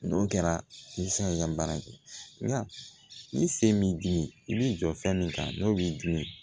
N'o kɛra i bɛ se ka baara kɛ nga ni se b'i dimi i bɛ jɔ fɛn min kan n'o b'i dun